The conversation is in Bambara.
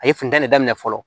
A ye funtɛni daminɛ fɔlɔ